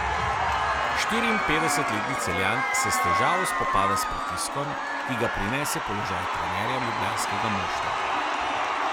Štiriinpetdesetletni Celjan se s težavo spopada s pritiskom, ki ga prinese položaj trenerja ljubljanskega moštva.